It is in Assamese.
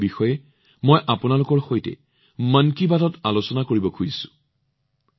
মই তেওঁলোকৰ বিষয়ে আপোনালোকৰ সৈতে মন কী বাতত আলোচনা কৰিব বিচাৰো